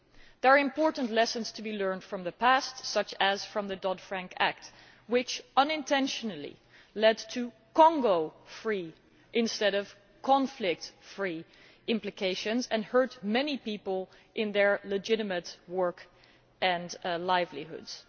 There are important lessons to be learned from the past, such as from the Dodd Frank Act which unintentionally led to Congo free instead of conflict free implications and hurt many people in their legitimate work and livelihoods.